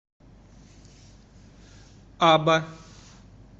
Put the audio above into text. аба